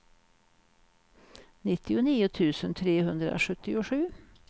nittionio tusen trehundrasjuttiosju